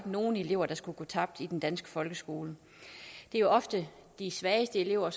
nogen elever der skulle gå tabt i den danske folkeskole det er jo ofte de svageste elever